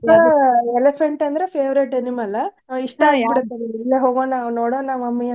Elephant ಅಂದ್ರ favourite animal ಇಷ್ಟಾ ಹೋಗೋಣ ನೋಡೋಣ ಒಮ್ಮೆ,